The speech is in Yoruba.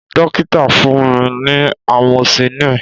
Dokita fun mi ni amoxicillin